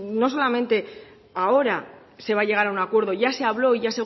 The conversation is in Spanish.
no solamente ahora se va a llegar a un acuerdo ya se habló ya